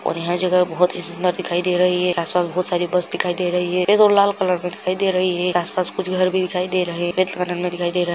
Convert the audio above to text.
और यहाँ जगह बहुत ही सुंदर दिखाई दे रही है रास्ता में बहुत सारी बस दिखाई दे रही है सफ़ेद और लाल कलर की दिखाई दे रही है आस-पास कुछ घर भी दिखाई दे रहे हैं दिखाई दे रहा है।